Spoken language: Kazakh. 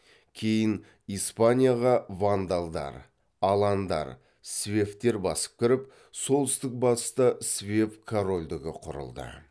кейін испанияға вандалдар аландар свевтер басып кіріп солтүстік батыста свев корольдігі құрылды